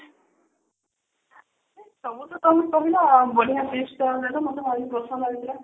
ସବୁ ତ ତମେ କହିଲ ବଢିଆ best tips ଦେଲ ମତେ ଲାଗିଲା